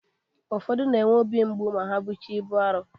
Ụfodu na-enwe ọbi mgbụ ma ha bụcha ịbu arọ.